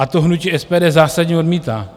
A to hnutí SPD zásadně odmítá.